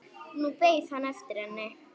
Nú beið hann eftir henni.